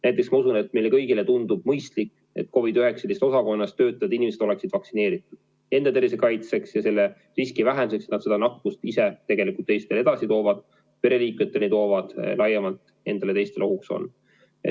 Näiteks ma usun, et meile kõigile tundub mõistlik, et COVID-19 osakonnas töötavad inimesed oleksid vaktsineeritud enda tervise kaitseks ja selle riski vähendamiseks, et nad nakkust teisteni edasi kannavad, ka pereliikmetele toovad ja laiemalt endale ja teistele ohuks on.